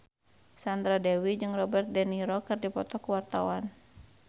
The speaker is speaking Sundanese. Sandra Dewi jeung Robert de Niro keur dipoto ku wartawan